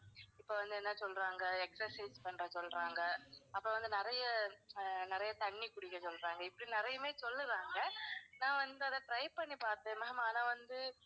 இப்போ வந்து என்ன சொல்றாங்க exercise பண்ண சொல்றாங்க. அப்பறம் வந்து நிறைய, ஆஹ் நிறையா தண்ணி குடிக்க சொல்றாங்க. இப்படி நிறையவே சொல்லுறாங்க நான் வந்து அதை try பண்ணி பாத்தேன் ma'am ஆனா வந்து